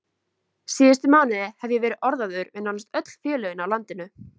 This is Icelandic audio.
Síðustu mánuði hef ég verið orðaður við nánast öll félögin á landinu.